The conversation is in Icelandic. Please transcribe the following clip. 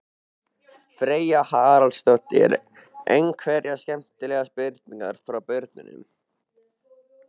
Freyja Haraldsdóttir: Einhverjar skemmtilegar spurningar frá börnum?